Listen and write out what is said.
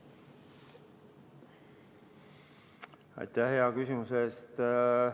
Aitäh hea küsimuse eest!